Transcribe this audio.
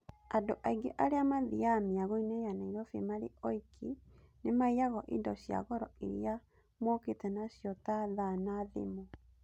Andũ aingĩ arĩa mathiaga mĩagoinĩ ya Nairobi marĩ oiki nĩmaiyagwo indo cia goro iria mokĩte nacio ta thaa na thimũ.